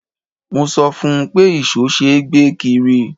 Mo sọ fún un pé ìṣó ṣe é gbé kiri.